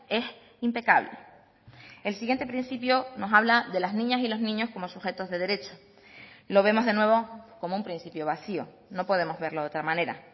es impecable el siguiente principio nos habla de las niñas y los niños como sujetos de derecho lo vemos de nuevo como un principio vacío no podemos verlo de otra manera